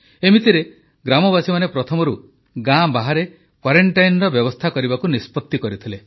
ଏମିତିରେ ଗ୍ରାମବାସୀମାନେ ପ୍ରଥମରୁ ଗାଁ ବାହାରେ କ୍ୱାରେଂଟାଇନର ବ୍ୟବସ୍ଥା କରିବାକୁ ନିଷ୍ପତ୍ତି କରିଥିଲେ